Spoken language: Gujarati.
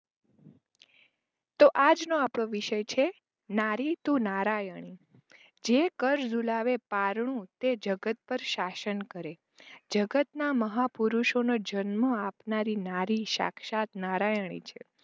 તો આજનો આપડો વિષય છે નારી તું નારાયણી જે કર ઝુલાવે પારણુ તે જગત પાર શાસન કરે જગતના મહા પુરુષો નો જન્મ આપનારી નારી શાક્ષાત નારાયણી છે.